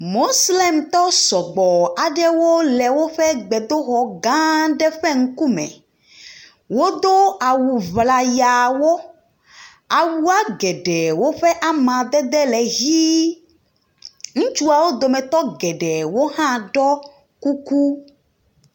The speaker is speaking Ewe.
Moslemtɔ sɔgbɔ aɖewo le woƒe gbedoxɔ gã ɖe ƒe ŋkume. Wodo awu ŋlayawo. Awua geɖewo ƒe amadede le hi. Ŋutsuwo dometɔ geɖe hã ɖɔ kuku.